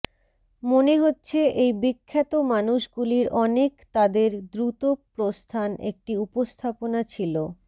মনে হচ্ছে এই বিখ্যাত মানুষগুলির অনেক তাদের দ্রুত প্রস্থান একটি উপস্থাপনা ছিল